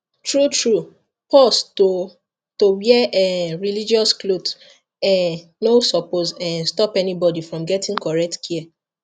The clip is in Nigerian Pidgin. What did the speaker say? truetrue pause to to wear um religious cloth um no suppose um stop anybody from getting correct care